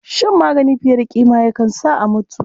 Shan magani fiye da ƙima ma yakan sa a mutu.